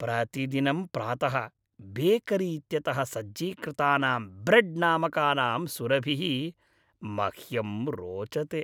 प्रतिदिनं प्रातः बेकरी इत्यतः सज्जीकृतानां ब्रेड् नामकानां सुरभिः मह्यं रोचते।